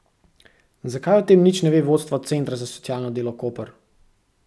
Zakaj o tem nič ne ve vodstvo Centra za socialno delo Koper?